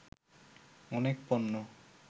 অনেক পণ্য